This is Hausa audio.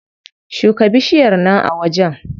Shuka bishiyar nan a wajen.